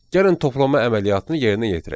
Gəlin toplama əməliyyatını yerinə yetirək.